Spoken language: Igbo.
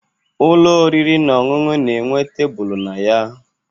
Ụlọ oriri na ọṅụṅụ na-enwe tebulu na ya